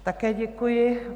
Také děkuji.